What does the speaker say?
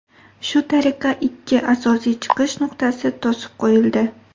Shu tariqa ikki asosiy chiqish nuqtasi to‘sib qo‘yildi.